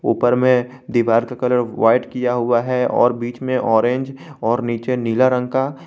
ऊपर में दीवार का कलर व्हाइट किया हुआ है और बीच में ऑरेंज और नीचे नीला रंग का।